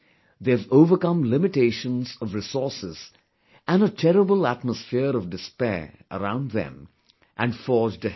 They have overcome limitations of resources and a terrible atmosphere of despair around them and forged ahead